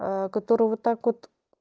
который вот так вот